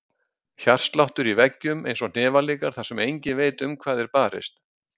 Hjartsláttur í veggjum, einsog hnefaleikar þar sem enginn veit um hvað er barist.